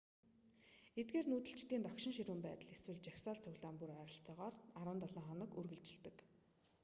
эдгээр нүүдэлчдийн догшин ширүүн байдал эсвэл жагсаал цуглаан бүр ойролцоогоор 17 хоног үргэлжилдэг